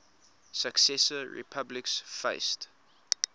successor republics faced